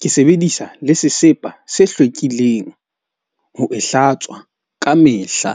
Ke sebedisa le sesepa se hlwekileng ho e hlatswa ka mehla.